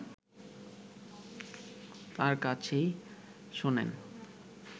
তার কাছেই শোনেন